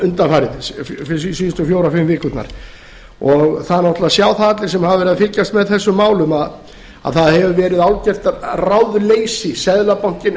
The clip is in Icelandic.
undanfarið síðustu fjórar fimm vikurnar það sjá það náttúrlega allir sem hafa verið að fylgjast með þessum málum að það hefur verið algjört ráðleysi seðlabankinn